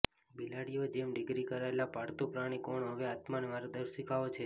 બિલાડીઓ જેમ ડિગ્રી કરાયેલા પાળતુ પ્રાણી કોણ હવે આત્મા માર્ગદર્શિકાઓ છે